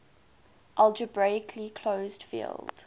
algebraically closed field